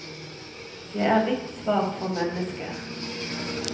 Jeg er litt svak for mennesker.